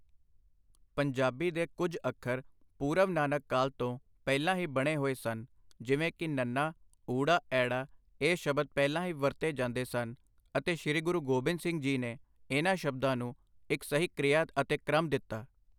ਪੰਜਾਬੀ ਦੇ ਕੁੱਝ ਅੱਖਰ ਪੂਰਵ ਨਾਨਕ ਕਾਲ ਤੋਂ ਪਹਿਲਾਂ ਹੀ ਬਣੇ ਹੋਏ ਸਨ, ਜਿਵੇਂ ਕਿ ਨੱਨਾ ਊੜਾ ਐੜਾ ਇਹ ਸ਼ਬਦ ਪਹਿਲਾਂ ਹੀ ਵਰਤੇ ਜਾਂਦੇ ਸਨ ਅਤੇ ਸ਼੍ਰੀ ਗੁਰੂ ਗੋਬਿੰਦ ਸਿੰਘ ਜੀ ਨੇ ਇਹਨਾਂ ਸ਼ਬਦਾਂ ਨੂੰ ਇੱਕ ਸਹੀ ਕ੍ਰਿਆ ਅਤੇ ਕ੍ਰਮ ਦਿੱਤਾ।